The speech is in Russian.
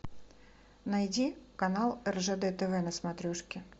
найди канал ржд тв на смотрешке